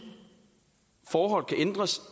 forhold kan ændres